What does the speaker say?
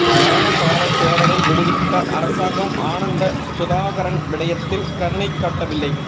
ஞானசார தேரரை விடுவித்த அரசாங்கம் ஆனந்த சுதாகரன் விடயத்தில் கருணை காட்டவில்லை